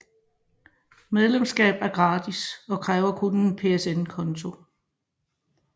Medlemskab er gratis og kræver kun en PSN konto